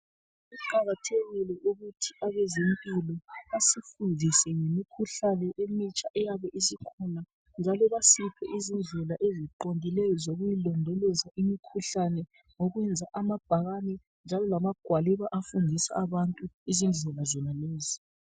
Kuqakathekile ukuthi abezempilo basifundise ngemikhuhlane emitsha eyabe isikhona njalo basiphe izindlela eziqondileyo zokuyilondoloza imikhuhlane ngokwenza amabhakane njalo lamagwaliba afundisa abantu izindlela zonalezi.